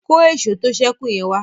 kọ Èṣó tó sẹku yen wá.